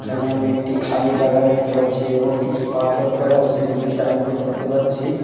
এখানে আমি একটি খালি জাগা দেখতে পাচ্ছি এবং কিছু পাথর পড়ে আছে দুইটি সাইন বোর্ড দেখতে পাচ্ছি .]